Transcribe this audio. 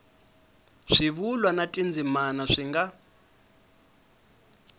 swivulwa na tindzimana swi nga